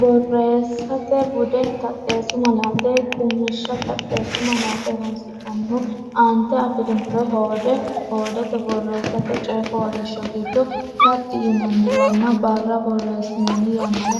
Borreessate Bude: Taxxeessu Malaate Qummishsha Taxxeessu malaate horonsi’nannihu: aante afi’rinore hoode hoodete borreessate, coy fooliishsho giddo taxxi yinanniwanna barra borreessinanni yannara